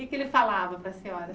E o que é que ele falava para a senhora?